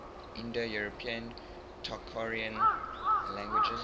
indo european tocharian languages